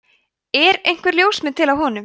er einhver ljósmynd til af honum